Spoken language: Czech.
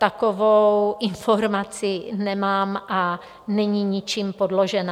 Takovou informaci nemám a není ničím podložena.